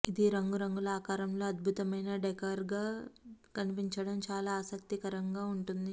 ఇది రంగురంగుల ఆకారంలో అద్భుతమైన డెకర్గా కనిపించడం చాలా ఆసక్తికరంగా ఉంటుంది